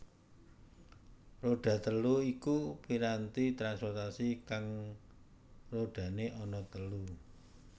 Roda telu iku piranti transportasi kang rodane ana telu